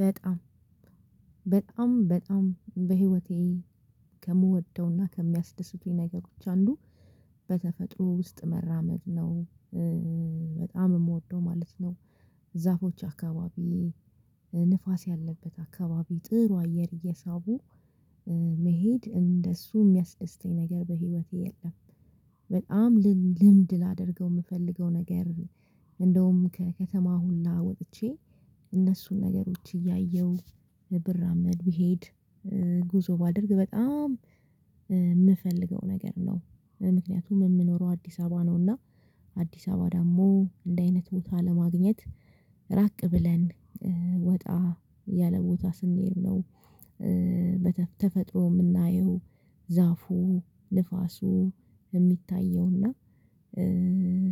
በጣም በጣም በጣም በህይወቴ ከምወደውና ከሚያስደስቱኝ ነገሮች አንዱ በተፈጥሮ ውስጥ መራመድ ነው። በጣም የምወደው ማለት ነው። ዛፎች አካባቢ ንፋስ ያለበት አካባቢ ጥሩ አየር እየሳቡ መሄድ እንደሱ ሚያስደስተኝ ነገር በህይወቴ የለም። በጣም ልምድ ላደርገው ምፈልገው ነገር እንደውም ከከተማ ሁላ ወጥቼ እነሱን ነገሮች እያየሁ ብራመድ ቢሄድ። ጉዞ ባደርግ በጣም ምፈልገው ነገር ነው። ምክኒያቱም ምኖረው አዲሳባ ነው እና አዲሳባ ደሞ እንዲህ አይነት ቦታ ለማግኘት ራቅ ብለን ወጣ ያለ ቦታ ስንሄድ ነው። በተፈጥሮ ምናየው ዛፉ ንፋሱ የሚታየው እና።